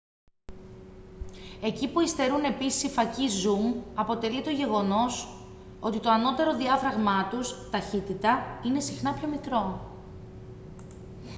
εκεί που υστερούν επίσης οι φακοί zoom αποτελεί το γεγονός ότι το ανώτερο διάφραγμά τους ταχύτητα είναι συχνά πιο μικρό